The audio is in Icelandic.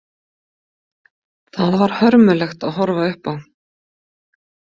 Það var hörmulegt að horfa upp á.